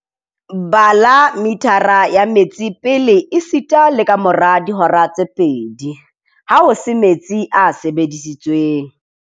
Bala mithara ya metsi pele esita le kamora dihora tse pedi, ha ho se metsi a sebedisitsweng.